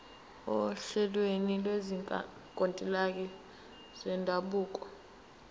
ohlelweni lwezinkantolo zendabuko